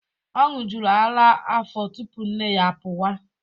Ọ ṅụjuru ara afọ tupu nne ya apụwa.